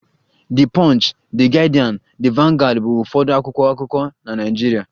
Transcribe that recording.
The punch, The Guardian, The vanguard bụ ụfọdụ akwụkwọ akụkọ na Nigeria